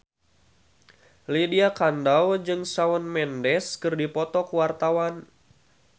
Lydia Kandou jeung Shawn Mendes keur dipoto ku wartawan